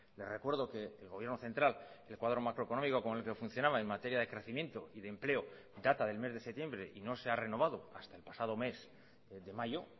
le recuerdo que el gobierno central el cuadro macroeconómico con el que funcionaba en materia de crecimiento y de empleo data del mes de septiembre y no se ha renovado hasta el pasado mes de mayo